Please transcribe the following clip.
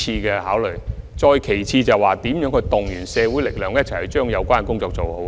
此外，我們亦須籌劃應如何動員社會力量一起完成有關工作。